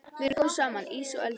Við erum góð saman, ís og eldur.